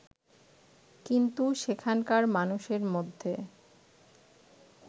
কিন্তু সেখানকার মানুষের মধ্যে